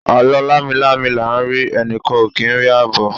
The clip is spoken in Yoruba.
alo lami-lami la n ri, enikan o ki n ri abo